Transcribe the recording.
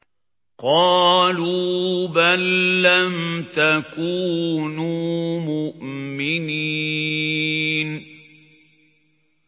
قَالُوا بَل لَّمْ تَكُونُوا مُؤْمِنِينَ